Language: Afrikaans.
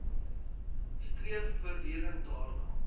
streef voortdurend daarna